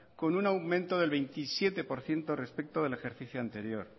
con un aumento del veintisiete por ciento respecto del ejercicio anterior